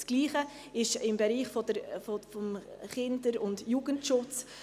Das Gleiche gilt für den Bereich des Kinder- und Jugendschutzes.